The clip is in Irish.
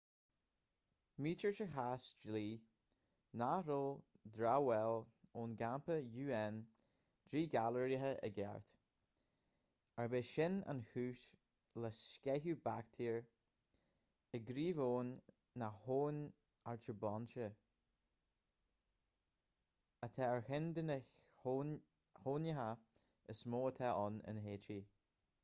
maítear sa chás dlí nach raibh dramhaíl ón gcampa un díghalraithe i gceart arb é sin an chúis le sceitheadh baictéar i gcraobh-abhainn na habhann artibonite atá ar cheann de na haibhneacha is mó atá ann in háítí